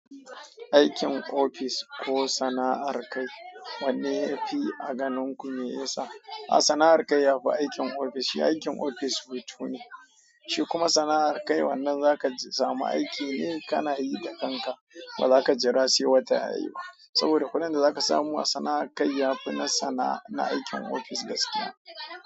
Aikin ofis ko sana'ar kai, wanne ya fi a ganin ku mai yasa? Sana'ar ka yafi aikin ofis shi aikin ofis weto ne, shi kuma kuma sana'a kai wannan zaka samu aiki ne kana yi da kanka ba zaka jira sai wata yayi ba. Saboda kudin da zaka samu a sana'ar kai yafi na sana'ar aikin ofis gaskiya.